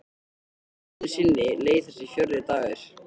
Aðeins einu sinni leið þessi fjórði dagur.